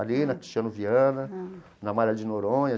Ali, na Cristiano Viana, na Amália de Noronha.